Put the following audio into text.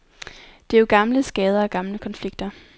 Det er jo gamle skader og gamle konflikter.